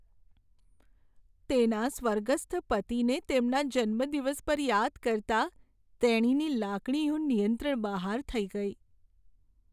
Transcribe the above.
તેના સ્વર્ગસ્થ પતિને તેમના જન્મદિવસ પર યાદ કરતાં તેણીની લાગણીઓ નિયંત્રણ બહાર થઈ ગઈ.